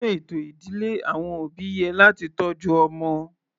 Nínú ètò ìdílé àwọn òbí yẹ láti tọ́jú ọmọ.